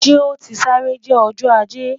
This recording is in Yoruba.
Ṣe o ti sare jẹ Ọjọ Aje?